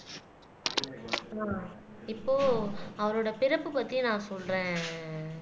இப்போ அவரோட பிறப்பு பத்தி நான் சொல்றேன்